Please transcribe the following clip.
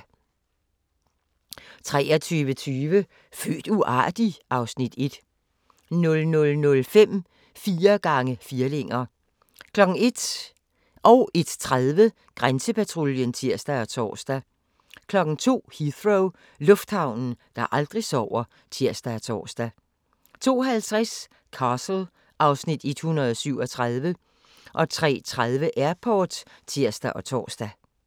23:20: Født uartig? (Afs. 1) 00:05: Fire gange firlinger 01:00: Grænsepatruljen (tir og tor) 01:30: Grænsepatruljen (tir og tor) 02:00: Heathrow – lufthavnen, der aldrig sover (tir og tor) 02:50: Castle (Afs. 137) 03:30: Airport (tir og tor)